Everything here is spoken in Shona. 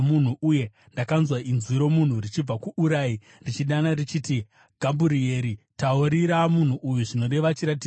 Uye ndakanzwa inzwi romunhu richibva kuUrai richidana richiti, “Gabhurieri, taurira munhu uyu zvinoreva chiratidzo.”